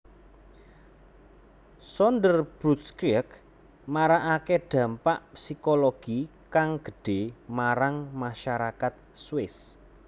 Sonderbundskrieg marakake dampak psikologi kang gedhe marang masyarakat Swiss